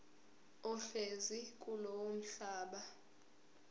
ohlezi kulowo mhlaba